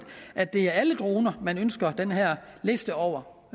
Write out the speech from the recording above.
at det er alle droner man ønsker den her liste over